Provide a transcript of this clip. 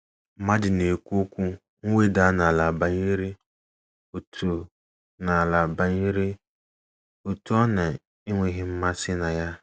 Mmadụ na - ekwu okwu mweda n’ala banyere otu n’ala banyere otu ọ na - enweghị mmasị na ya.